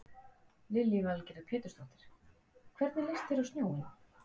Lillý Valgerður Pétursdóttir: Hvernig leist þér á snjóinn?